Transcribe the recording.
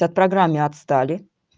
так в программе отстали